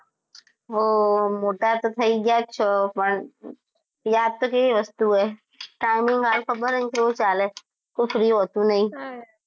હો મોટા તો થઇ ગયા છો પણ યાદ તો કેવી વસ્તુ ઓય timing હાલ ખબર હ ન કેવું ચાલ કો free હોતું નહિ.